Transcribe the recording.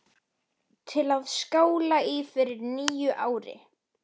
Mirra, hvernig er veðrið í dag?